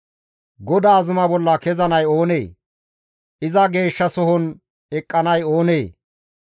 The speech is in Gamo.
GODAA zuma bolla kezanay oonee? Iza geeshshasohon eqqanay oonee?